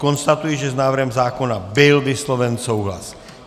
Konstatuji, že s návrhem zákona byl vysloven souhlas.